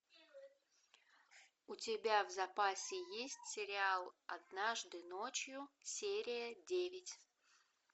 у тебя в запасе есть сериал однажды ночью серия девять